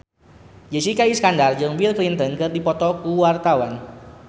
Jessica Iskandar jeung Bill Clinton keur dipoto ku wartawan